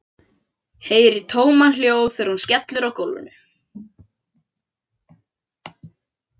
Heyri tómahljóð þegar hún skellur á gólfinu.